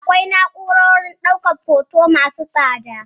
Akwai na'urorin ɗaukan hoto masu tsada.